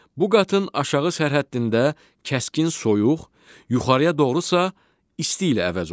Bu qatın aşağı sərhəddində kəskin soyuq, yuxarıya doğru isə isti ilə əvəz olunur.